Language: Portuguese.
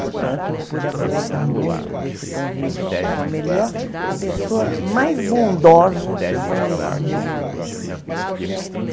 Portanto, eu pude aproveitar muito desse convívio com a melhor, a pessoa mais bondosa que eu conheci na minha vida.